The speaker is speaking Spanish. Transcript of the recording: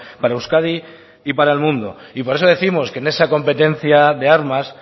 para euskadi y para el mundo y por eso décimos que en esa competencia de armas